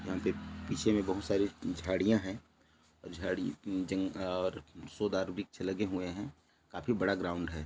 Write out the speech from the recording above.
बहुत बड़ा मैदान है मैदान में बहुत से लोग खेल रहे हैं मैदान के सामने बहुत ज्यादा पौधे हैं पौधों के पीछे आसमान नजर आ रहा है।